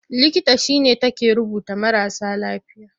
Likita shi ne take duba marasa lafiya.